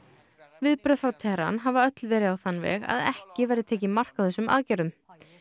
viðbrögð frá Teheran hafa öll verið á þann veg að ekki verði tekið mark á þessum aðgerðum